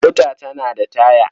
Mota tana da taya.